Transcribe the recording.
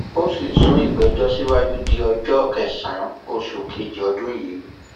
ó sì sún ìgbẹjọ síwájú di ọjọ kẹsànán oṣù kejì ọdún yìí